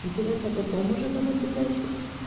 кидывать а потом уже давать задачу